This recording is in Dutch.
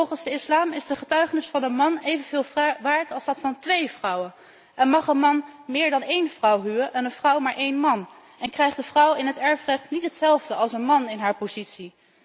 Want volgens de islam is de getuigenis van een man evenveel waard als die van twee vrouwen en mag een man meer dan één vrouw huwen en een vrouw maar één man, en krijgt de vrouw in het erfrecht niet hetzelfde als een man in haar positie.